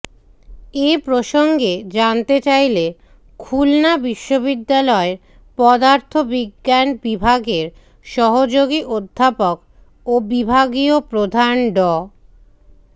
এ প্রসঙ্গে জানতে চাইলে খুলনা বিশ্ববিদ্যালয়ের পদার্থ বিজ্ঞান বিভাগের সহযোগী অধ্যাপক ও বিভাগীয় প্রধান ড